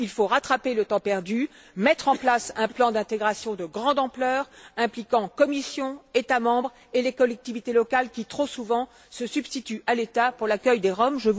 Il faut rattraper le temps perdu, mettre en place un plan d'intégration de grande ampleur impliquant la Commission, les États membres et les collectivités locales qui, trop souvent, se substituent à l'État pour l'accueil des Roms.